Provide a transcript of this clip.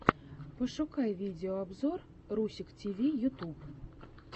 пошукай видеообзор русик тиви ютуб